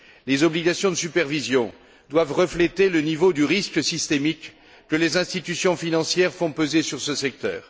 Les obligations de supervision doivent refléter le niveau du risque systémique que les institutions financières font peser sur ce secteur.